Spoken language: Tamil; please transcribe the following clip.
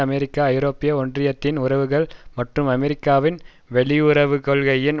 அமெரிக்கா ஐரோப்பிய ஒன்றியத்தின் உறவுகள் மற்றும் அமெரிக்காவின் வெளியுறவுக்கொள்கையின்